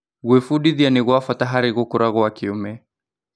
Gwĩbundithia nĩ gwa bata harĩ gũkũra kwa kĩũme.